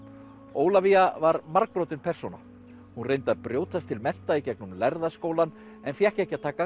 Ólafía var margbrotin persóna hún reyndi að brjótast til mennta í gegnum lærða skólann en fékk ekki að taka